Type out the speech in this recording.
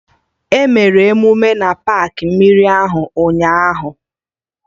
Emere emume na paakị mmiri ahụ ụnyaahụ